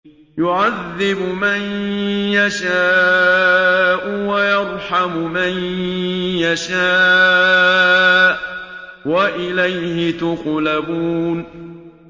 يُعَذِّبُ مَن يَشَاءُ وَيَرْحَمُ مَن يَشَاءُ ۖ وَإِلَيْهِ تُقْلَبُونَ